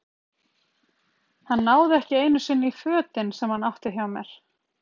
Hann náði ekki einu sinni í fötin sem hann átti hjá mér.